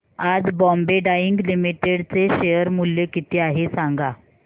आज Bombay Dyeing Limited चे share मूल्य किती आहे सांगा